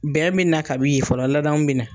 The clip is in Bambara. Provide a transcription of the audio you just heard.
Bɛn bɛ na ka bi yen fɔlɔ ladamu bɛ na.